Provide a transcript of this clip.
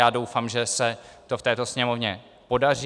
Já doufám, že se to v této Sněmovně podaří.